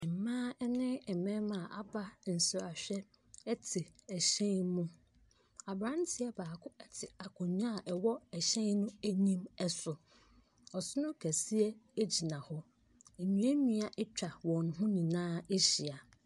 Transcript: Mmaa ne mmarima a wɔaba nsrahwɛ te ɛhyɛn mu. Aberantew baako te akonnwa a ɛwɔ ɛhyɛn no anim so. Ɔsono kɛseɛ gyina hɔ. Nnuannua atwan wɔn ho nyinaa ahyia.